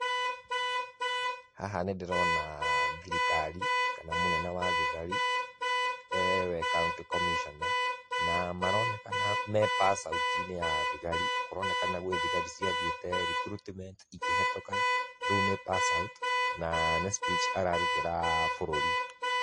Haha nĩ ndĩrona thirikari, kana mũnene wa thigari, e we county commissioner na maronekana me passout inĩ ya thigari, kũronekana gwĩ thigari ciathiĩte recruitment ikĩhĩtũka, rĩũ nĩ passout, na nĩ speech atarutĩra bũrũri.